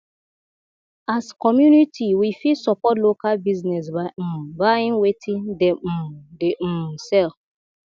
as community we fit support local business by um buying wetin dem um dey um sell